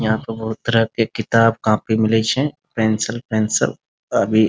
यहाँ पर बहुत तरह के किताब-कॉपी मिलै छे पेंसिल पेंसिल अभी --